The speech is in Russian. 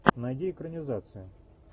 найди экранизацию